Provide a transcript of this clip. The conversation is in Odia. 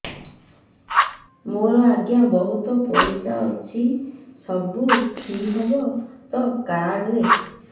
ମୋର ଆଜ୍ଞା ବହୁତ ପଇସା ଅଛି ସବୁ ଫ୍ରି ହବ ତ ଏ କାର୍ଡ ରେ